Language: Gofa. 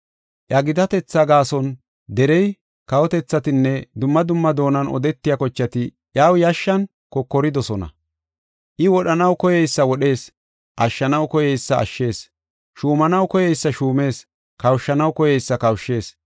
Iya gitatetha gaason derey, kawotethatinne dumma dumma doonan odetiya kochati iyaw yashshan kokoridosona. I wodhanaw koyeysa wodhees; ashshanaw koyeysa ashshees; shuumanaw koyeysa shuumees; kawushanaw koyeysa kawushshees.